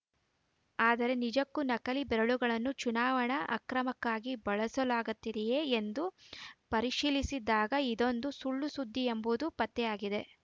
ಆದರೆ ನಿಜಕ್ಕೂ ನಕಲಿ ಬೆರಳುಗಳನ್ನು ಚುನಾವಣಾ ಅಕ್ರಮಕ್ಕಾಗಿ ಬಳಸಲಾಗತ್ತಿದೆಯೇ ಎಂದು ಪರಿಶೀಲಿಸಿದಾಗ ಇದೊಂದು ಸುಳ್ಳು ಸುದ್ದಿ ಎಂಬುದು ಪತ್ತೆಯಾಗಿದೆ